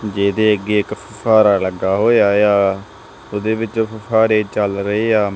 ਜੇਹਦੇ ਅੱਗੇ ਇੱਕ ਫੁਹਾਰਾ ਲੱਗਾ ਹੋਇਆ ਯਾ ਓਹਦੇ ਵਿੱਚ ਫੁਫ਼ਾਰੇ ਚੱਲ ਰਹੇ ਆ।